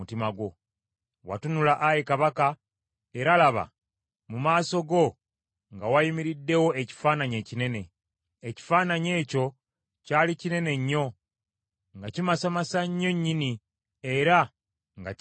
“Watunula, ayi kabaka, era laba, mu maaso go nga wayimiriddewo ekifaananyi ekinene. Ekifaananyi ekyo kyali kinene nnyo, nga kimasamasa nnyo nnyini era nga kya ntiisa.